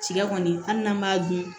Cikɛ kɔni hali n'an b'a dun